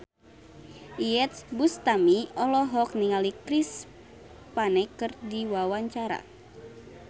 Iyeth Bustami olohok ningali Chris Pane keur diwawancara